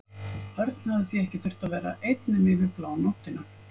Örn hafði því ekki þurft að vera einn nema yfir blánóttina.